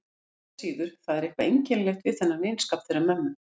Engu að síður, það er eitthvað einkennilegt við þennan vinskap þeirra mömmu.